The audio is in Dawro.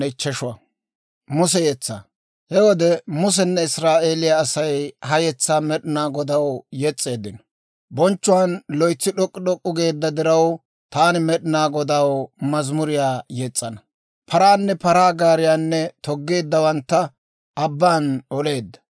He wode Musenne Israa'eeliyaa Asay ha yetsaa Med'inaa Godaw yes's'eeddino; «Bonchchuwaan loytsi d'ok'k'u d'ok'k'u geedda diraw, taani Med'inaa Godaw mazimuriyaa yes's'ana. Paranne paraa gaariyaanne toggeeddawantta abbaan oleedda.